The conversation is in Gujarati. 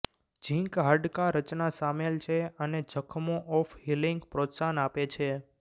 ઝિંક હાડકાં રચના સામેલ છે અને જખમો ઓફ હીલિંગ પ્રોત્સાહન આપે છે